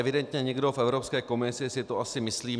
Evidentně někdo v Evropské komisi si to asi myslí.